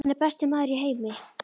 Hann er besti maður í heimi.